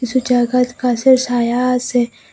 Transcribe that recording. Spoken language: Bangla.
কিছু জায়গাত গাসের সায়া আসে।